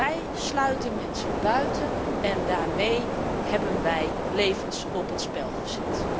Wij sluiten mensen buiten en daarmee hebben wij levens op het spel gezet.